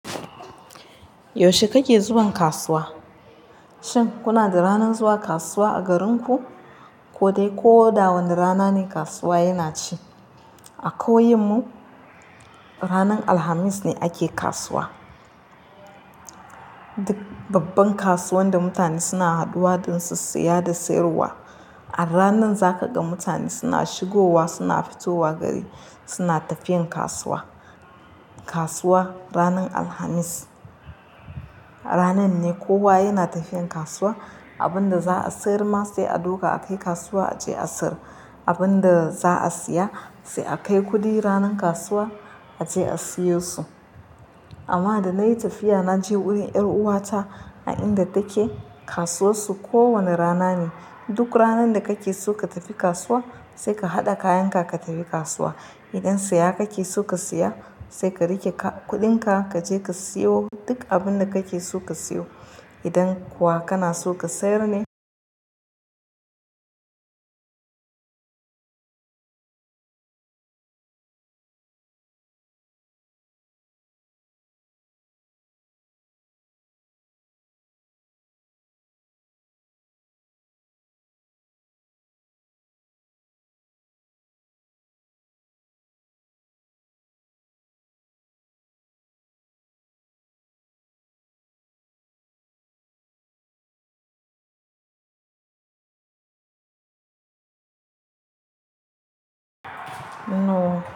Yaushe kake zuwan kasuwa? Shin kuna da ranar zuwa kasuwa a garinku? Ko dai ko da wane rana ne kasuwa yana ci. A ƙauyen mu ranar Alhamis ne ake kasuwa. Duk babban kasuwan da mutane da mutane suna haduwa don su siya da siyarwa. A ranan za ka ga mutane suna shigowa suna fitowa gari, suna tafiyan kasuwa. Kasuwa ranar Alhamis, ranan ne kowa yana tafiyan kasuwa. Abin da za a sayar ma sai a duka a kai kasuwa a ce a sayar. Abin da za a siya sai a kai kuɗi ranan kasuwa a ce a siyo su. Amma da na yi tafiya na je wurin 'yar uwata a inda take, kasuwar su ko wane rana ne. Duk ranan da kake so ka tafi kasuwa sai ka haɗa kayan ka ka tafi kasuwa. Idan siya kake so ka siya sai ka riƙe ka- kuɗin ka kaje ka siyo duk abin da kake so ka siyo. Idan kuwa kana so ka sayar ne No.